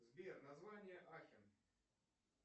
сбер название ахен